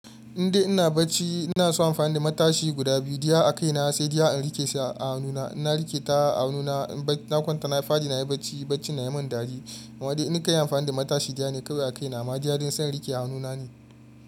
Indai ina bacci ina son amfani da matashi guda biyu, diya a kai na sai diya in rike shi a hannuna. Ina rikita a hannuna, na kwanta na fadi nayi bacci, bacci na yi min dari. Amma dai in kai amfani da matashi diya ne kawai a kai na amma diya don son rike a hannuna ne.